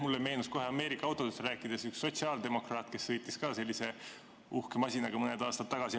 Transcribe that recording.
Mulle meenus kohe Ameerika autodest rääkides üks sotsiaaldemokraat, kes sõitis ka sellise uhke masinaga mõned aastad tagasi.